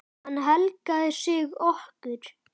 Hann helgaði sig okkur.